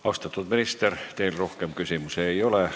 Austatud minister, teile rohkem küsimusi ei ole.